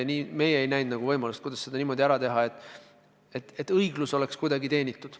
Nii et meie ei näinud võimalust seda niimoodi ära teha, et õiglus oleks tagatud.